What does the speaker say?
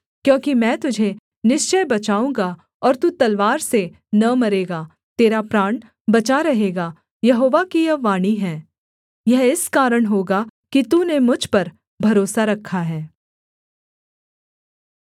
क्योंकि मैं तुझे निश्चय बचाऊँगा और तू तलवार से न मरेगा तेरा प्राण बचा रहेगा यहोवा की यह वाणी है यह इस कारण होगा कि तूने मुझ पर भरोसा रखा है